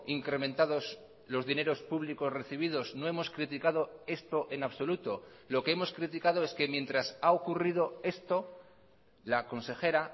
incrementados los dineros públicos recibidos no hemos criticado esto en absoluto lo que hemos criticado es que mientras ha ocurrido esto la consejera